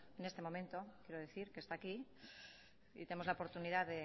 en este momento quiero decir que está aquí y tenemos la oportunidad